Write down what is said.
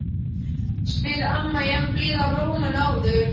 spyr amma í enn blíðari rómi en áður.